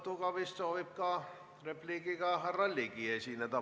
Repliigiga vist soovib ka härra Ligi esineda.